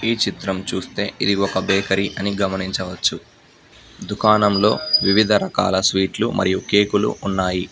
ఈ చిత్రం చూస్తే ఇది ఒక బేకరి అని గమనించవచ్చు దుకాణంలో వివిధ రకాల స్వీట్ లు మరియు కేక్ లు ఉన్నాయి.